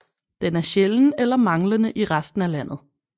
Den er sjælden eller manglende i resten af landet